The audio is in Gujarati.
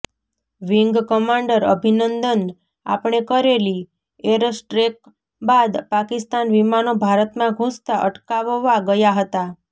વીંગ કમાન્ડર અભિનંદન આપણે કરેલી એરસ્ટ્રેક બાદ પાકિસ્તાન વિમાનો ભારતમાં ઘુસતા અટકાવવા ગયા હતા